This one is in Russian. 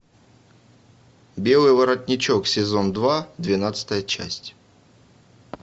белый воротничок сезон два двенадцатая часть